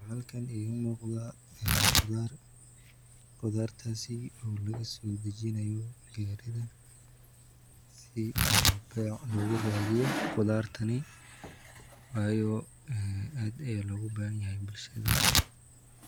Waxa halkan igamuqda qudhar, qudhartasi oo laga sodijinayo garida, si oo bec laguradiyo qudhartani wayo aad aya logabahinyay bulshada.